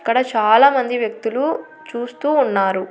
ఇక్కడ చాలా మంది వ్యక్తులు చూస్తూ ఉన్నారు.